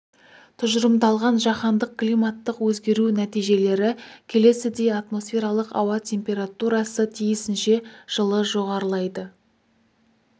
тұжырымдалған жаһандық климаттық өзгеру нәтижелері келесідей атмосфералық ауа температурасы тиісінше жылы жоғарылайды